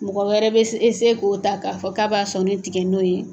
Mɔgɔ wɛrɛ bɛ k'o ta k'a fɔ k'a b'a sɔnni tigɛ n'o ye.